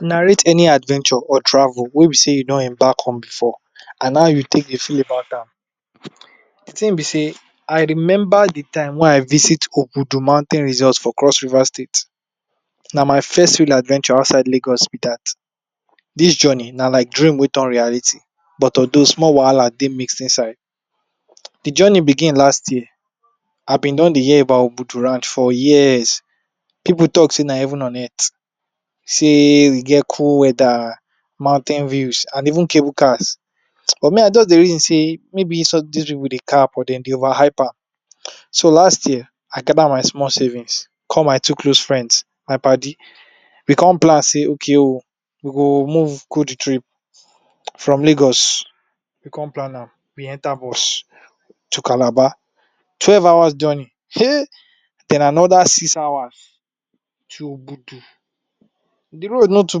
Narrate any adventure or travel wey be sey you don embark on before, and how you take Dey feel about an. D thing b say, I remember the time wey I visit ogudu mountain resorts for Cross River State. Na my first real adventure outside Lagos will be that, This journey na like dream wey turn reality, but although small wahala Dey mixed inside. The journey begin last year, I been don Dey hear about Ogbudu Ranch for years. People talk Say na heaven on earth. Say, e get cool weather, mountain views, and even cable cars. But me, I just dey reason say, maybe this pipu Dey cap, or dem the over hype am. So last year, I gather my small savings, call my two close friends, my paddy. We come plan say, okay oh, we go move, go the trip. From Lagos, we come plan am, we enter bus, to Calabar. Twelve hours journey[um], then another six hours. To ogbudu The road is not too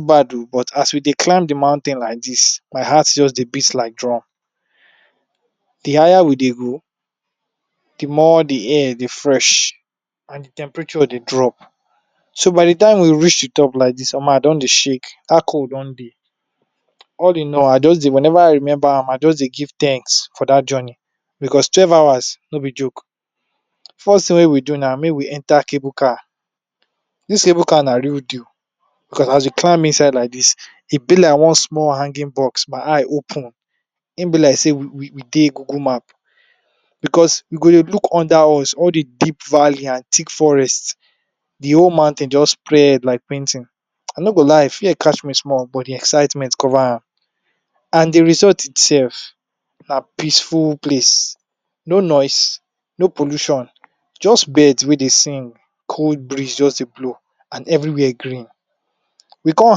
bad oh, but as we climb the mountain like this, my heart just beats like drum. The higher we Dey go, the more d air Dey fresh, and d temperature Dey drop. So by the time we reach the top like this, Omo I don Dey shake, dat cold don Dey. All I know, whenever I remember am, I just Dey give thanks for that journey, because twelve hours no b joke, first thing wey we do na make we enter cable car, This cable car na real deal, because as we climb inside like this, it be like one small hanging box, my eye open. Hin b like say we Dey google map, because we go Dey look under us, all the deep valley and thick forest, the whole mountain just spread like painting. I no go lie, fear catch me small, but the excitement cover am. And the resort itself, na peaceful place. No noise, no pollution, just birds wey Dey sing. Cold Breeze just Dey blow, and everywhere green. We come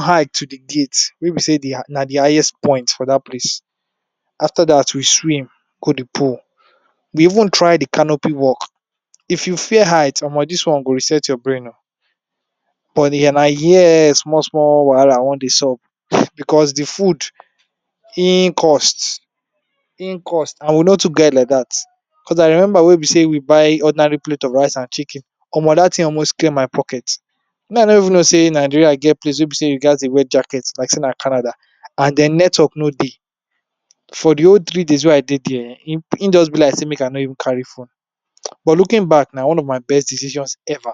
high to the gate, where be say na d highest point for dat place. After that we swim, go the pool. We even try the canopy walk. If you fear height, Omo dis one go reset your brain oh. But na here, small small wahala wan Dey sup. Because the food, hin cost. Hin cost, and we know to get like that. Because I remember where be say we buy ordinary plate of rice and chicken. Omo dat thing almost clear my pocket. I no even no say Nigeria get place, wey be sey you gatz Dey wear jacket, like say na Canada. And den network no dey. For the whole three days weyI Dey there, hin just be like sey make I no even carry phone. But looking back, na, one of my best decisions ever.